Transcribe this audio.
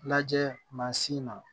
Lajɛ mansin na